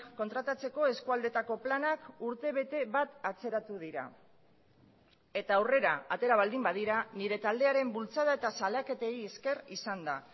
kontratatzeko eskualdeetako planak urtebete bat atzeratu dira eta aurrera atera baldin badira nire taldearen bultzada eta salaketei ezker izan da